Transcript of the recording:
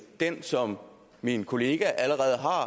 det som min kollega allerede har